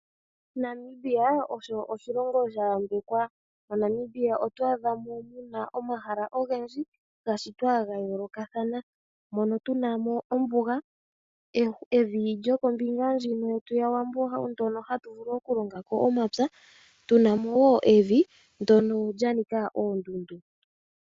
Namibia osho oshilongo sha yambekwa. MoNamibia oto adha mo mu na omahala ogendji ga shitwa ga yoolokathana. Mono tu na mo ombuga, evi lyokombinga ndjino yetu yaWambo ndyono hatu vulu okulonga ko omapya, tu na mo wo evi ndyono lya nika oondundu.